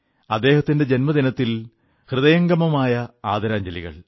അദ്ദേഹത്തിന്റെ ജന്മദിനത്തിൽ ഹൃദയംഗമമായ ആദരാഞ്ജലികൾ